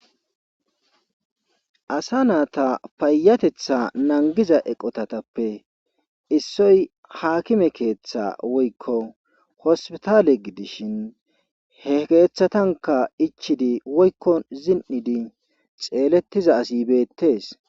Asa naata payatetha nangiza eqotatappe issoy haakime keeththa woykko hospitaale gidishin he keeththatanka ichidi woykko zin7idi xeelettiza asibeettees.